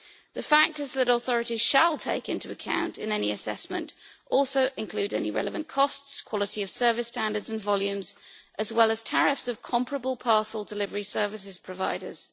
The factors that authorities shall take into account in any assessment also include any relevant costs, quality of service standards and volumes, as well as tariffs of comparable parcel delivery services providers.